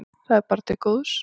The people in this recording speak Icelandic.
Þetta er bara til góðs.